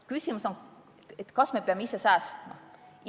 Küsimus on, kas me peame ise säästma.